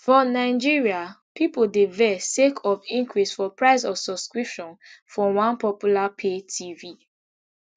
for nigeria pipo dey vex sake of increase for price of subscription for one popular pay tv